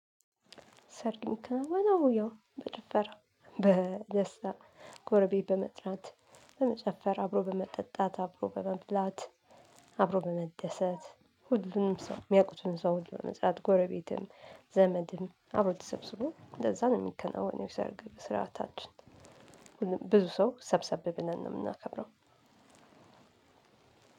ሰርግ የሚከናወነው ያው በጭፈራ፣ በደስታ ጎረቤት በመጥራት ጭፈራ አብሮ በመጠጣት አብሮ በመብላት አብሮ በመደሰት ሁሉንም ሰው የሚያውቁትን ሰው ሁሉ ዘመድ ጎረቤትን ዘመድንም አብሮ ተሰብስቦ እንደዛ ነው የሚከናወነው የሰርግ ስርዓታችን። ብዙ ሰው ሰብሰብ ብለን ነው የምናከብረው።